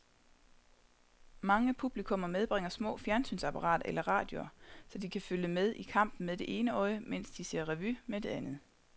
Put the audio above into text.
Mange publikummer medbringer små fjernsynsapparater eller radioer, så de kan følge med i kampen med det ene øje, mens de ser revy med det andet.